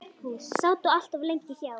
Sátu allt of lengi hjá.